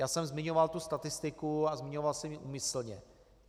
Já jsem zmiňoval tu statistiku a zmiňoval jsem ji úmyslně.